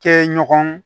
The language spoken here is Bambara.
Kɛ ɲɔgɔn